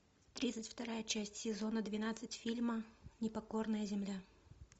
тридцать вторая часть сезона двенадцать фильма непокорная земля